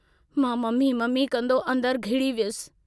मां mummy mummy कंदो अंदरु घिड़ी वियुसि।